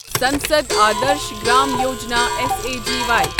Sansad Adarsh Gram Yojana S A G وایی